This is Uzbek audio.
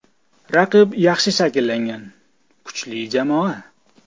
Raqib yaxshi shakllangan, kuchli jamoa.